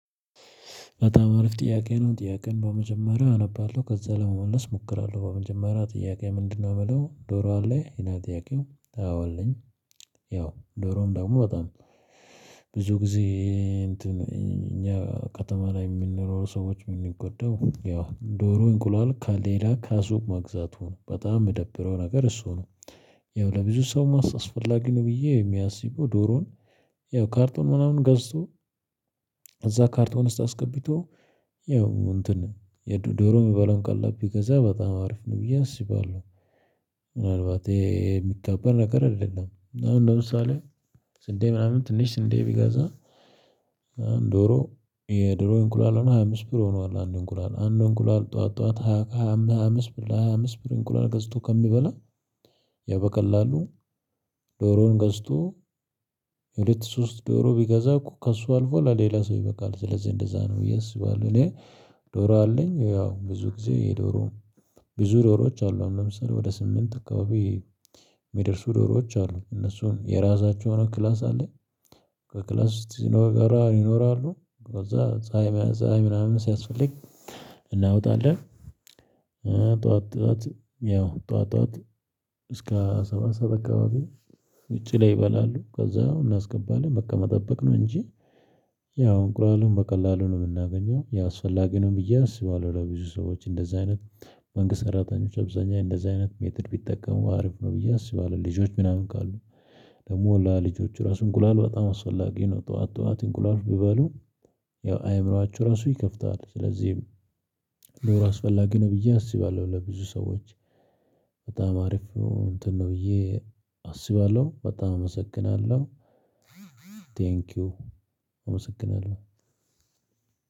በጣም አሪፍ ጥያቄ ነው። ጥያቄን በመጀመሪያው አነባለሁ ከዛ ለመመለስ እሞክራለሁ። በመጀመሪያ ጥያቄ ምንድነው ምለው? ዶሮ አለ? ይላል ጥያቄው። አዎ አለኝ። ያው ዶሮም ደግሞ በጣም ብዙ ጊዜ እንትን እኛ ከተማ ላይ የሚንኖር ሰዎች የሚንጎዳው ያው ዶሮ እንቁላል ከሌላ ከሱቅ መግዛቱ ነው። በጣም የምደብረው ነገር እሱ ነው። ያው ለብዙ ሰው አስፈላጊ ነው ብዬ የማስበው ዶሮን ያው ካርቶን ምናምን ገዝቶ እዛ ካርቶ እንስጥ አስገቢቶ ያው እንትን የዶሮ የሚባለውን ቀላብ ቢገዛ በጣም አሪፍ ነው ብዬ አስባለሁ። ምናልባት የሚካበድ ነገር አይደለም። እና አሁን ለምሳሌ ስንዴ ምናምን ትንሽ ስንዴ ቢገዛ ዶሮ የዶሮ እንቁላል አሁን ሃያ አምስት ብር ሆኗል አንድ እንቁላል አንድ እንቁላል ጠዋት፣ ጠዋት ሃያ አምስት ብር በሃያ አምስት ብር እንቁላል ገዝቶ ከሚበላ ያው በቀላሉ ዶሮውን ገዝቶ ሁለት ሶስት ዶሮ ቢገዛ እኮ ከእሱ አልፎ ለሌላ ሰው ይበቃል። ስለዚህ እንደዛ ነው ብዬ አስባለው እኔ ዶሮ አለኝ። ያው ብዙ ጊዜ ዶሮ፣ ብዙ ዶሮዎች አሉ። ለምሳሌ ወደ ስምንት አካባቢ የሚደርሱ ዶሮዎች አሉ። እነሱም የራሳቸው የሆነ ክላስ አለ። ከክላስ ሲኖር ይኖራሉ ከዛ ፀሀይ መያዝ ፀሀይ ምናምን ሲያስፈልግ እናወጣለን። ጠዋት ጠዋት ያው፣ ጠዋት እስከ ሰባት ሰዓት አካባቢ ውጭ ላይ ይበላሉ። ከዛ አሁን እናስገባለን በቃ መጠበቅ ነው እንጂ እንቁላሉን በቀላሉ ነው የምናገኘው። ያው አስፈላጊ ነው ብዬ አስባለሁ ለብዙ ሰዎች እንደዛ አይነት፣ መንግስት ሰራተኞች አብዛኛዬ እንደዛ አይነት ሜተድ ቢጠቀሙ አሪፍ ነው ብዬ አስባለሁ። ልጆች ምናምን ካሉ ደግሞ ወላ ልጆቹ ራሱ እንቁላል በጣም አስፈላጊ ነው ጠዋት ጠዋት እንቁላል ብበሉ ያው አይምሮአችሁ ራሱ ይከፍታል። ስለዚህም ዶሮ አስፈላጊ ነው ብዬ አስባለሁ ለብዙ ሰዎች። በጣም አሪፍ እንትን ነው ብዬ አስባለሁ። በጣም አመሰግናለሁ። ቴንኪው፣ አመሰግናለሁ